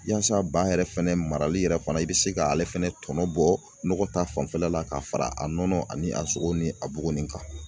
Yaasa ba yɛrɛ fɛnɛ marali yɛrɛ fana i bɛ se k'ale fɛnɛ tɔnɔ bɔ nɔgɔ ta fanfɛla la k'a fara a nɔnɔ ani a sogo ni a buguni kan